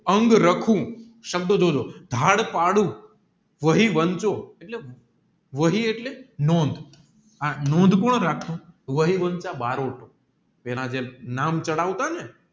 અંગરખું સબધ જોજો ધરપદું વહીવંશો વહી એટલે નોંધઃ આ નોંધ કોણ રાકે વહીવંશ પેલા જે નામ ચડાવતા ને